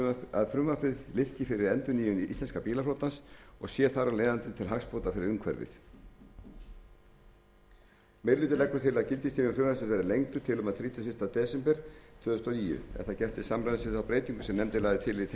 að frumvarpið liðki fyrir endurnýjun íslenska bílaflotans og sé þar af leiðandi til hagsbóta fyrir umhverfið meiri hlutinn leggur til að gildistími frumvarpsins verði lengdur til og með þrítugasta og fyrsta desember tvö þúsund og níu er það gert til samræmis við þá breytingu sem nefndin lagði til í tengslum